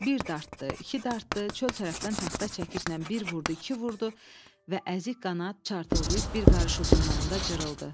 Bir dartdı, iki dartdı, çöl tərəfdən taxta çəkişlə bir vurdu, iki vurdu və əzik qanad çartıldayıb bir qarış uzunluğunda cırıldı.